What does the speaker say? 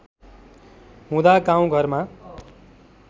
हुँदा गाउँ घरमा